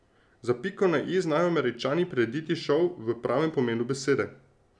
Za piko na i znajo Američani prirediti šov v pravem pomenu besede.